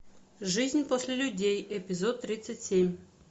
жизнь после людей эпизод тридцать семь